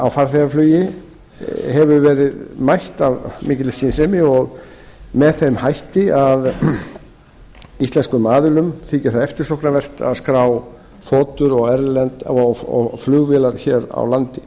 á farþegaflugi hefur verið mætt af mikilli skynsemi og með þeim hætti að íslenskum aðilum þykir það eftirsóknarvert að skrá þotur og flugvélar hér á landi